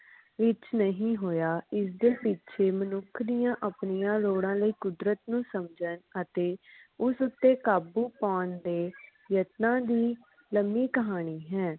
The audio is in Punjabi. ਵਿਚ ਨਹੀਂ ਹੋਇਆ ਜਿਸ ਦੇ ਪਿੱਛੇ ਮਨੁੱਖ ਦੀਆ ਆਪਣੀਆਂ ਲੋੜਾਂ ਲਈ ਕੁਦਰਤ ਨੂੰ ਸਮਝਣ ਅਤੇ ਉਸ ਉਤੇ ਕਾਬੂ ਪਾਉਣ ਦੇ ਯਤਨਾਂ ਦੀ ਲੰਬੀ ਕਹਾਣੀ ਹੈ